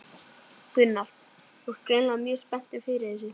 Gunnar: Þú ert greinilega mjög spenntur fyrir þessu?